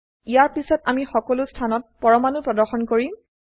ইয়াৰ পিছত আমি সকলো স্থানত পৰমাণু প্ৰদৰ্শন কৰিম